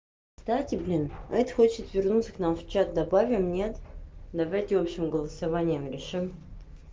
кстати блин эта хочет вернуться к нам в чат добавим нет давайте общим голосованием решим